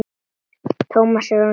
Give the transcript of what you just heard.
Tómas er orðinn sex mánaða.